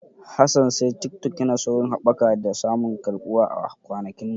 Hassan said Tiktok yana saurin haɓaka da samun karɓuwa a kwanakin nan.